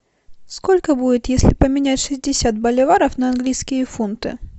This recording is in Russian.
сколько будет если поменять шестьдесят боливаров на английские фунты